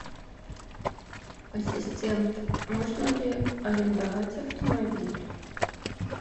ассистент можно ли арендовать автомобиль